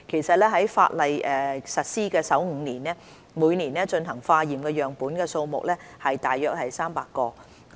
在法例實施首5年，每年進行化驗的樣本數目大約有300個。